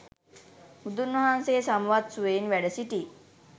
බුදුන් වහන්සේ සමවත් සුවයෙන් වැඩ සිටි